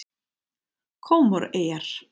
Kómoreyjar